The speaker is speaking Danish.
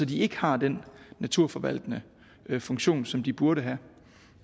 de ikke har den naturforvaltende funktion som de burde have